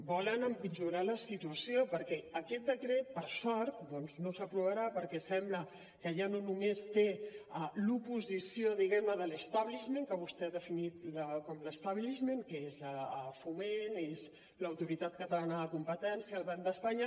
volen empitjorar la situació perquè aquest decret per sort doncs no s’aprovarà perquè sembla que ja no només té l’oposició diguem ne de l’hment que és foment és l’autoritat catalana de competència el banc d’espanya